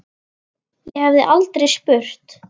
Ég hef aldrei spurt.